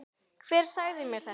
Hver sagði mér þetta?